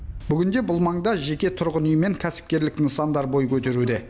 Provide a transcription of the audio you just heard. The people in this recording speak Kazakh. бүгінде бұл маңда жеке тұрғын үй мен кәсіпкерлік нысандар бой көтеруде